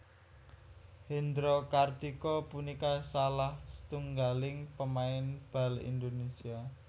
Hendro Kartiko punika salah setunggaling pemain bal Indonésia